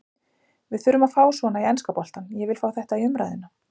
Við þurfum að fá svona í enska boltann, ég vil fá þetta í umræðuna.